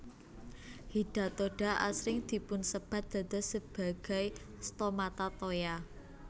Hidatoda asring dipunsébat dados sebagai stomata toya